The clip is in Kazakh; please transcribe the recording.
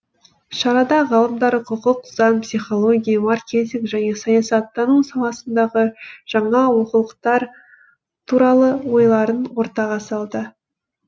шарада ғалымдар құқық заң психология маркетинг және саясаттану саласындағы жаңа оқулықтар туралы ойларын ортаға салды